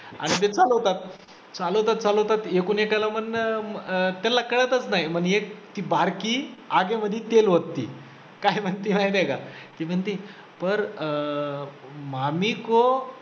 आणि ते चालवतात, चालवतात चालवतात एकूण एकाला म्हणणं अं त्यांना कळतचं नाही मग एक ती बारकी आगेमधी तेल ओतते काय म्हणते माहिती आहे का, ती म्हणते पर मामी को